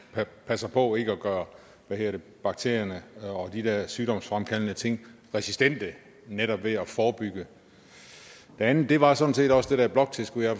passer på ikke at gøre hvad hedder det bakterierne og de der sygdomsfremkaldende ting resistente netop ved at forebygge det andet var sådan set også det der bloktilskud jeg